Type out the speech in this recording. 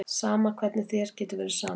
Sama, hvernig getur þér verið sama?